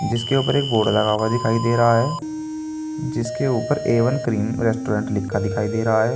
जिसके ऊपर एक बोर्ड लगा हुआ दिखाई दे रहा है जिसके ऊपर ए वन क्रीम रेस्टोरेंट लिखा दिखाई दे रहा है।